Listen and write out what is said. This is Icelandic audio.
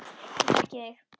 Ég þekki þig.